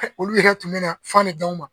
Olu yɛrɛ tun bɛ na fan de d'anw ma.